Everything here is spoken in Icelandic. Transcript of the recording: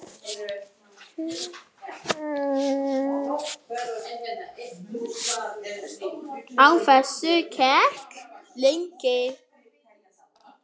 Á þessu gekk lengi.